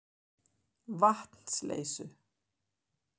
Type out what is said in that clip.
Vatnsleysu